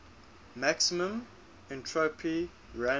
maximum entropy random